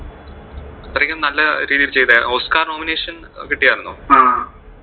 അത്രയ്ക്കും നല്ല രീതിയിൽ ചെയ്തതാ, ഓസ്കാർ nomination കിട്ടിയാർന്നു.